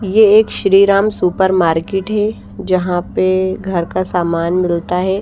ये एक Shriram supermarket है जहाँ पे घर का सामान मिलता है।